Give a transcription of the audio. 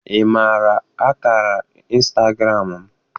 Ị maara akara instagram m?